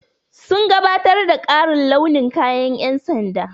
Sun gabatar da ƙarin launin kayan ƴan sanda.